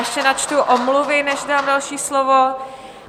Ještě načtu omluvy, než dám další slovo.